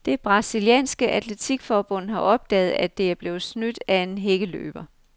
Det brasilianske atletikforbund har opdaget, at det er blevet snydt af en hækkeløber.